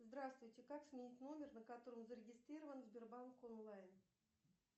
здравствуйте как сменить номер на котором зарегистрирован сбербанк онлайн